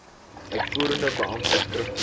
uitvoerende beampte skriftelik